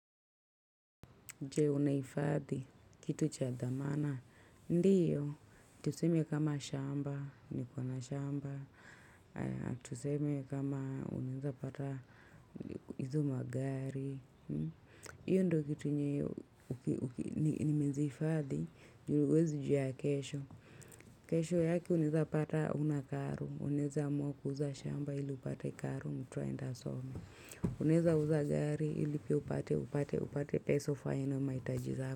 Je, unahifadhi kitu cha dhamana? Ndiyo, tuseme kama shamba, niko na shamba, tuseme kama unaweza pata hizo magari. Hiyo ndiyo kitu yenye unaweza hifadhi juu huwezi jua ya kesho. Kesho yake unaweza pata hauna karo, unaweza amua kuuza shamba ili upate karo mtu aende asome. Unaweza uza gari ili pia upate upate upate pesa ufanye nayo mahitaji zako.